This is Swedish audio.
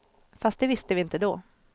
Fast det visste vi inte då.